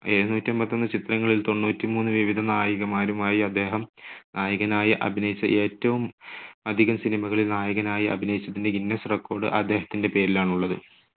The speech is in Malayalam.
എഴുനൂറ്റെൺപത്തൊന്ന് ചിത്രങ്ങളിൽ തൊണ്ണൂറ്റിമൂന്ന്‌ വിവിധ നായികമാരുമായി അദ്ദേഹം നായകനായി അഭിനയിച്ചു. ഏറ്റവും അധികം cinema കളിൽ നായകനായി അഭിനയിച്ചതിന്റെ guinness record അദ്ദേഹത്തിന്റെ പേരിലാണുള്ളത്.